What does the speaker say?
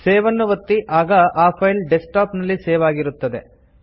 save ಅನ್ನು ಒತ್ತಿ ಆಗ ಆ ಫೈಲ್ ಡೆಸ್ಕ್ಟಾಪ್ ನಲ್ಲಿ ಸೇವ್ ಆಗಿರುತ್ತದೆ